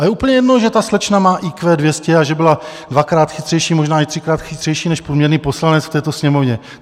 A je úplně jedno, že ta slečna má IQ 200 a že byla dvakrát chytřejší, možná i třikrát chytřejší než průměrný poslanec v této Sněmovně.